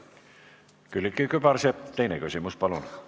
Külliki Kübarsepp, teine küsimus, palun!